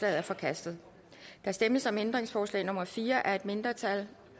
er forkastet der stemmes om ændringsforslag nummer fire af et mindretal